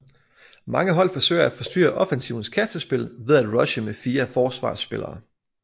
Mange hold forsøger at forstyrre offensivens kastespil ved at rushe med fire forsvarsspillere